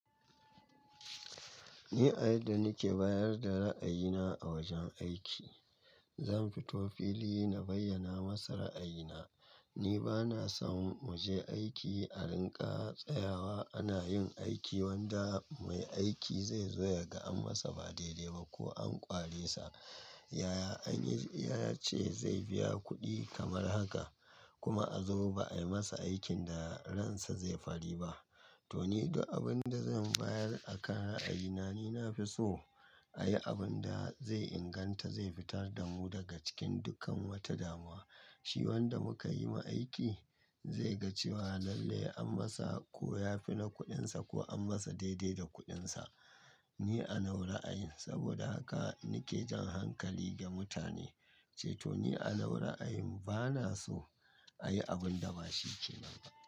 Ni a yadda nike bayar da ra'ayina a wajen aiki, zan fito fili na bayyana masa ra'ayina. Ni bana son muje aiki a rinƙa tsayawa ana yin aiki wanda mai aiki zai zoya ga an masa ba daidai ba ko an ƙware sa. Yaya anyi, ya ce zai biya kuɗi kamar haka kuma a zo ba ayi masa aikin da ransa zai fari ba. To ni da abin da zan bayar a kan ra'ayina, ni na fi so a yi abun da zai inganta, zai fitar da mu daga cikin dukkan wata damuwa. Shi wanda muka yi ma aiki zai ga cewa lalle an masa ko ya fi na kuɗinsa ko an masa daidai da kuɗinsa. Ni a nau ra'ayin saboda haka nike jan hankali ga mutane cewa to ni a nau ra'ayin bana so a yi abun da ba shi ke nan ba.